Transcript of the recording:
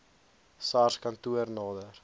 sars kantoor nader